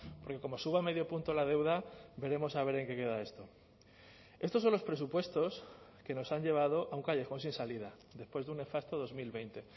porque como suba medio punto la deuda veremos a ver en qué queda esto estos son los presupuestos que nos han llevado a un callejón sin salida después de un nefasto dos mil veinte